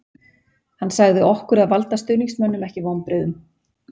Hann sagði okkur að valda stuðningsmönnum ekki vonbrigðum